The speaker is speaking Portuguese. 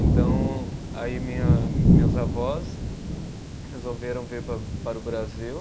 Então, aí minha, meus avós resolveram vir pa para o Brasil